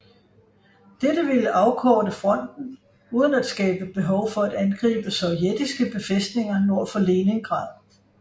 Dette ville afkorte fronten uden at skabe behov for at angribe sovjetiske befælstninger nord for Leningrad